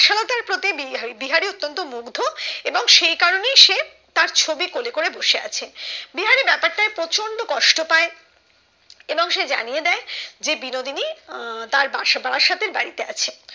যে বিহারি অত্তান্ত মুগ্ধ এবং সেই কারণে সে তার ছবি কোলে করে বসে আছে বিহারি প্রচন্ড কষ্ট পায় এবং সে জানিয়ে দেয় যে বিনোদিনী আহ তার বাসা বাসাতে বাড়িতে আছে